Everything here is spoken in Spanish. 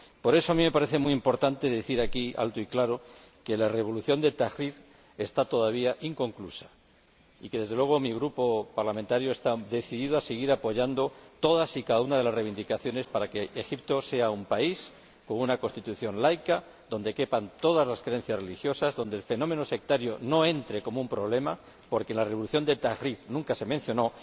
Por eso, a mí me parece muy importante decir aquí, alto y claro, que la revolución de Tahrir está todavía inconclusa y que, desde luego, mi Grupo parlamentario está decidido a seguir apoyando todas y cada una de las reivindicaciones para que Egipto sea un país con una constitución laica, donde quepan todas las creencias religiosas, donde el fenómeno sectario no represente un problema, porque en la revolución de Tahrir nunca se mencionó.